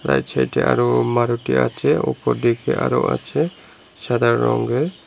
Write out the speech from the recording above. চার ছাইডে আরও মারুতি আছে উপর দিকে আরও আছে সাদা রঙ্গের।